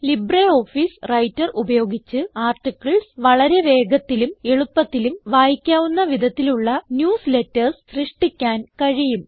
LibreOffice Writer ഉപയോഗിച്ച് articles വളരെ വേഗത്തിലും എളുപ്പത്തിലും വായിക്കാവുന്ന വിധത്തിലുള്ള ന്യൂസ്ലേറ്റർസ് സൃഷ്ടിക്കാൻ കഴിയും